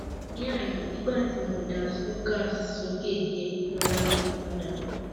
ní àná nígbà tí mo ka slokas sókè díẹ ìrora mi padà